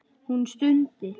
Hún stundi.